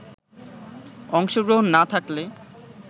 অংশগ্রহণ না থাকলে